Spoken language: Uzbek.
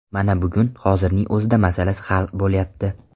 Mana bugun, hozirning o‘zida masalasi hal bo‘lyapti.